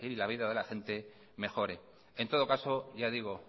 la vida de la gente mejore ya digo